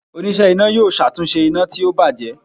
onise iná yọọ ṣatunṣe ina ti o bajẹ.